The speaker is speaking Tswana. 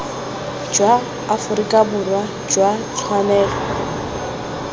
jwa aforika borwa jwa tshwanelo